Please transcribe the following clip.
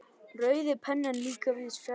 Rauði penninn líka víðs fjarri.